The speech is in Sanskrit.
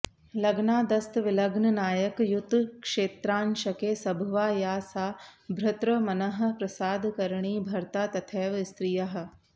लग्नादस्तविलग्ननायकयुतक्षेत्रांशके सभवा या सा भर्तृमनःप्रसादकरणि भर्ता तथैव स्त्रियाः